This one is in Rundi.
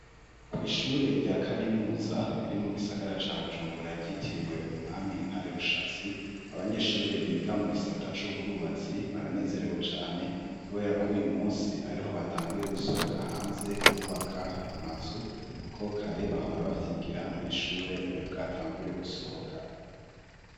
Kwishure rya kaminuza riri mu gisagara ca Bujumbura ryitiriwe umwami Ntare Rushatsi abanyeshuri biga mu gisata c'ubwubatsi baranezerewe cane kubera ko uyu munsi ariho batanguye gusohoka hanze kubaka amazu kuko kare bahora bavyigira mwishure ntibari bwatangure gusohoka.